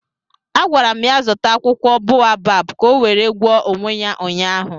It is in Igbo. A gwara m ya zụta akwụkwọ boabab ka ọ were gwọọ onwe ya ụnyaahụ